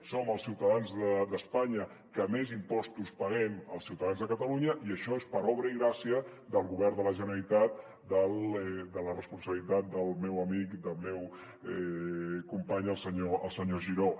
som els ciutadans d’espanya que més impostos paguem els ciutadans de catalu·nya i això és per obra i gràcia del govern de la generalitat de la responsabilitat del meu amic del meu company el senyor giró